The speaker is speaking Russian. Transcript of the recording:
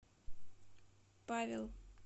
павел